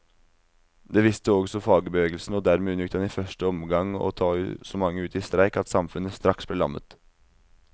Det visste også fagbevegelsen, og dermed unngikk den i første omgang å ta så mange ut i streik at samfunnet straks ble lammet.